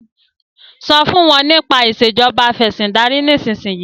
so fún wón nípa Ìṣèjọba Afẹ̀sìndarí nísìsiyìí!